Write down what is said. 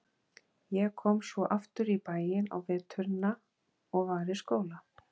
Ég kom svo aftur í bæinn á veturna og var í skóla.